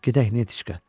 Gedək, Netiçka!